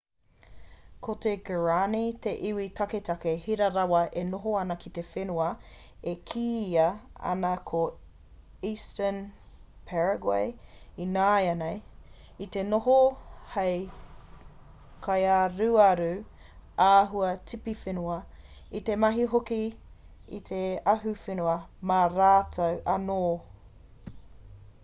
ko te guarani te iwi taketake hira rawa e noho ana ki te whenua e kīia ana ko eastern paraguay ināianei i te noho hei kaiaruaru āhua-tipiwhenua i te mahi hoki i te ahuwhenua mā rātou anō